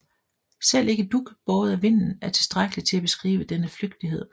Selv ikke dug båret af vinden er tilstrækkeligt til at beskrive denne flygtighed